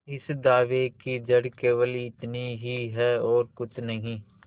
इस दावे की जड़ केवल इतनी ही है और कुछ नहीं